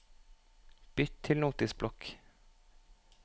Bytt til Notisblokk